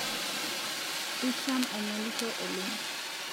Isham aingolisho oleng